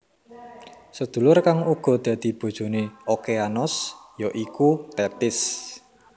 Sedulur kang uga dadi bojone Okeanos ya iku Tethis